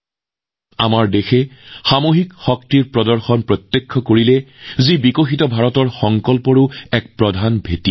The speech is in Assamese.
এই সময়ছোৱাত দেশত দেখা গল সামূহিকতাবাদৰ শক্তি যিটো উন্নত ভাৰতৰ বাবে আমাৰ সংকল্পৰো এক প্ৰধান আধাৰ